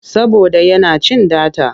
Saboda yana cin data.